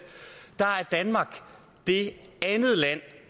var danmark det land